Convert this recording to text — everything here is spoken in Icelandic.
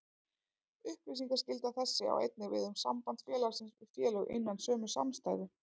Upplýsingaskylda þessi á einnig við um samband félagsins við félög innan sömu samstæðu.